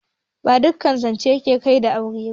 Ba duƙƙan zanche ke Kai ga aure ba.